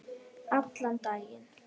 Allan daginn.